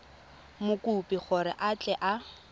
mokopi gore a tle a